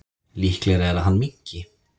Líklegra er að hann minnki.